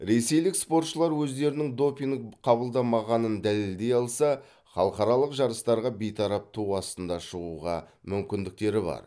ресейлік спортшылар өздерінің допинг қабылдамағанын дәлелдей алса халықаралық жарыстарға бейтарап ту астында шығуға мүмкіндіктері бар